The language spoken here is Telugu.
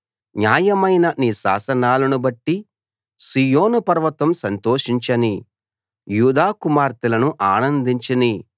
న్యాయమైన నీ శాసనాలను బట్టి సీయోను పర్వతం సంతోషించనీ యూదా కుమార్తెలను ఆనందించనీ